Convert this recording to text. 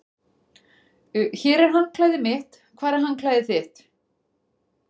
Hér er handklæðið mitt. Hvar er handklæðið þitt?